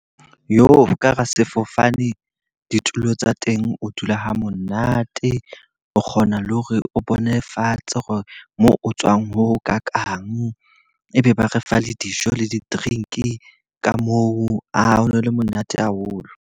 Ka hara sefofane ditulo tsa teng o dula ha monate, o kgona le hore o bone fatshe hore moo o tswang ho ho kakang. E be ba re fa le dijo le di-drink ka moo. Aa ho no le monate haholo.